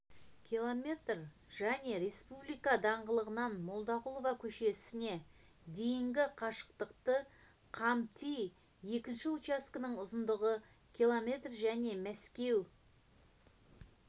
км және республика даңғылынан молдағұлова көшесіне дейінгі қашықтықты қамтиды екінші учаскенің ұзындығы км және мәскеу